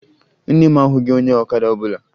Nne m ahụghị onye ọkada ọbụla